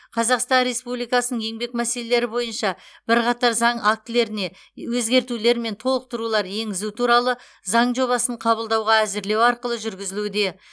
қазақстан республикасының еңбек мәселелері бойынша бірқатар заң актілеріне өзгертулер мен толықтырулар енгізу туралы заң жобасын қабылдауға әзірлеу арқылы жүргізілуде